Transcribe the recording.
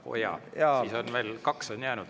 Oojaa, siis on veel kaks jäänud.